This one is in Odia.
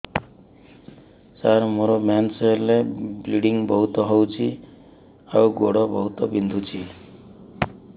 ସାର ମୋର ମେନ୍ସେସ ହେଲେ ବ୍ଲିଡ଼ିଙ୍ଗ ବହୁତ ହଉଚି ଆଉ ଗୋଡ ବହୁତ ବିନ୍ଧୁଚି